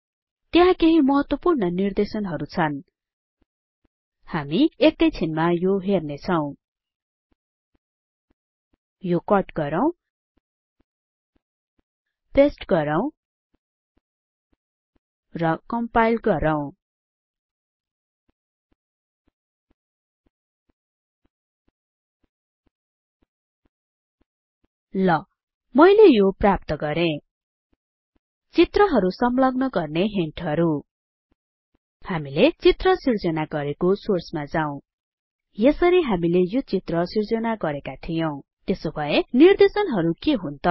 त्यहाँ केहि महत्वपूर्ण निर्देशनहरु छन् हामी एकैछिनमा यो हेर्नेछौं यो कट गरौँ पेस्ट गरौँ र कम्पाइल गरौँ ल मैले यो प्राप्त गरें चित्रहरु संलग्न गर्ने हिन्टहरु हामीले चित्र सिर्जना गरेको सोर्समा जाऊ यसरी हामीले यो चित्र सिर्जना गरेका थियौं त्यसो भए निर्देशनहरु के हुन् त